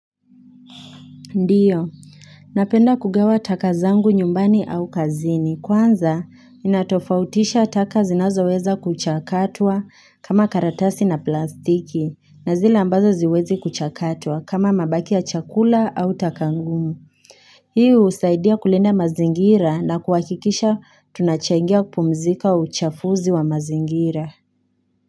Ndio, napenda kugawa taka zangu nyumbani au kazini. Kwanza, ninatofautisha taka zinazoweza kuchakatwa kama karatasi na plastiki. Na zile ambazo haziwezi kuchakatwa kama mabaki ya chakula au taka ngumu. Hii husaidia kulinda mazingira na kuhakikisha tunachangia kupumzika uchafuzi wa mazingira.